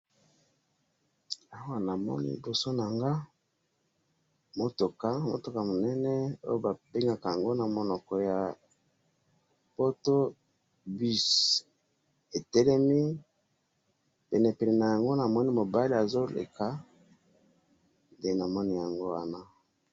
Awa namoni liboso nanga mutuka, mutuka munene oyo babengakaango namunoko ya poto buss, etelemi, penepene nayango namoni mobali azoleka, nde namoni yango wana.